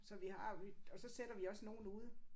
Så vi har vi og så sætter vi også nogle ude